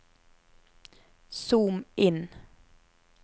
zoom inn